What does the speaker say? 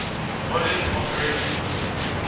modern operating systems